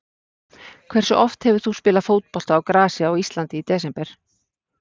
Hversu oft hefur þú spilað fótbolta á grasi á Íslandi í desember?